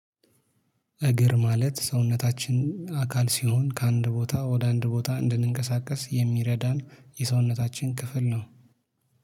እግር ማለት ሰውነታችን አካል ሲሆን ከአንድ ቦታ ወደ አንድ ቦታ እንድንቀሳቀስ የሚረዳን የሰውነታችን ክፍል ነው